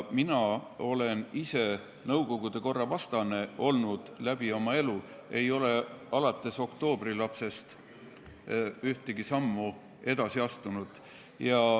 Mina olen ise olnud nõukogude korra vastane läbi oma elu, ei ole alates oktoobrilapsest ühtegi sammu edasi astunud.